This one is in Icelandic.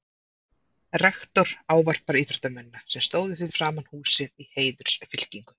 Rektor ávarpar íþróttamennina, sem stóðu fyrir framan húsið í heiðursfylkingu.